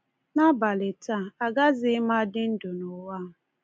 N’abalị taa, agazighị m adị ndụ n’ụwa a.